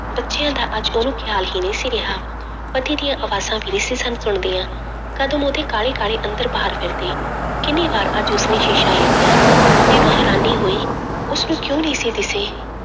ਬੱਚਿਆਂ ਦਾ ਅੱਜ ਉਹਨੂੰ ਖਿਆਲ ਹੀ ਨਹੀਂ ਸੀ ਰਿਹਾ ਪਤੀ ਦੀਆਂ ਆਵਾਜ਼ਾਂ ਵੀ ਨਹੀਂ ਸੀ ਸਨ ਸੁਣਦੀਆਂ, ਕਦਮ ਉਹਦੇ ਕਾਹਲੀ ਕਹਾਲੀ ਅੰਦਰ ਬਾਹਰ ਫਿਰਦੇ, ਕਿੰਨੀ ਵਾਰ ਅੱਜ ਉਸਨੇ ਸ਼ੀਸ਼ਾ ਵੇਖਿਆ ਹੈਰਾਨੀ ਹੋਈ ਉਸਨੂੰ ਕਿਉਂ ਨਹੀਂ ਸੀ ਦਿਸੀ।